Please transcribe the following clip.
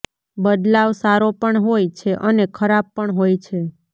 બદલાવ સારો પણ હોય છે અને ખરાબ પણ હોય છે